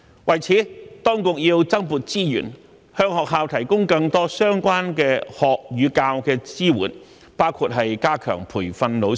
為此，當局要增撥資源，向學校提供更多相關學與教的支援，包括加強培訓老師。